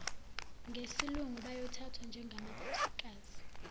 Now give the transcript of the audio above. ngesilungu bayothathwa njengamakhosikazi